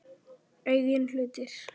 Eigin hlutir.